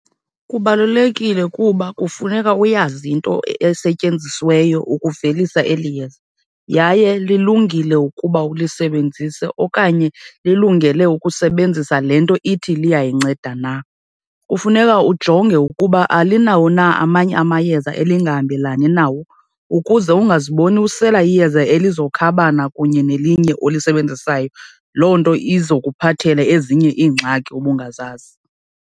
Kubalulekile kuba kufuneka uyazi into esetyenzisiweyo ukuvelisa eli yeza yaye lilungile ukuba ulisebenzise okanye lilungele ukusebenzisa le nto ithi liyayinceda na. Kufuneka ujonge ukuba alinawo na amanye amayeza elingahambelani nawo ukuze ungaziboni usela iyeza elizokhabana kunye nelinye olusebenzisayo, loo nto izokuphathela ezinye iingxaki ubungazazi.